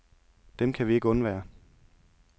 Dem kan vi ikke undvære.